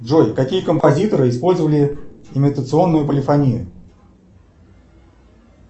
джой какие композиторы использовали имитационную полифонию